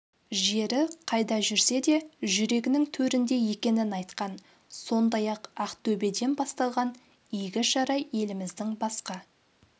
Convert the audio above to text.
жері қайда жүрсе де жүрегінің төрінде екенін айтқан сондай-ақ ақтөбеден басталған игі шара еліміздің басқа